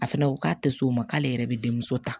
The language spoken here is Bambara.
A fɛnɛ ko k'a tɛ s'o ma k'ale yɛrɛ bɛ denmuso ta